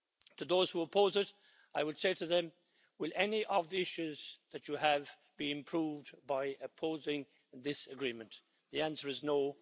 To those who oppose it, I would say to them will any of the issues that you have be improved by opposing this agreement? The answer is no.